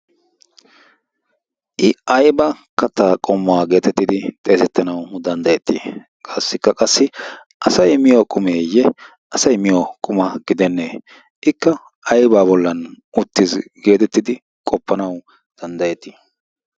I ayba kattaa qommo geetettidi xeesettanawu danddayettii? Qaassikka qassi asay miyo qumeeyye asay miyo quma gidennee? Ikka aybaa bollan uttiis geetettidi qoppanawu danddayettii?